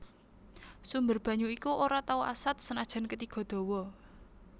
Sumber banyu iku ora tau asat senajan ketiga dawa